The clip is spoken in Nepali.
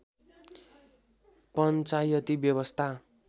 पञ्चायती व्यवस्था